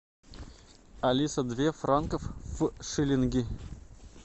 алиса две франков в шиллинги